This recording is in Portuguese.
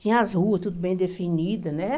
Tinha as ruas, tudo bem definida, né?